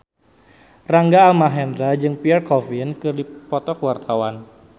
Rangga Almahendra jeung Pierre Coffin keur dipoto ku wartawan